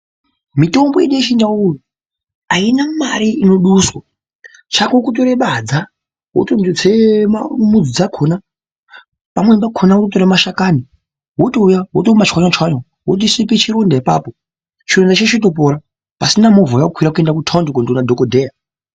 Mitombo yedu yechindau aina mare inoduswa chako kutore badza wotondotema mudzi dzakona pamweni pakona wototore mashakani wotouya wotomachwanya chwanya wotoshipe chironda apapo chironda chotopora pasina movha yawakwira kuenda kutaundi kondoona dhokodheya.